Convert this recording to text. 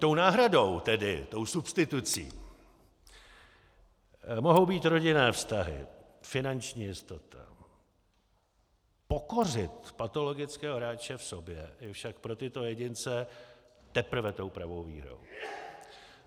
Tou náhradou, tedy tou substitucí mohou být rodinné vztahy, finanční jistota, pokořit patologického hráče v sobě je však pro tyto jedince teprve tou pravou výhrou.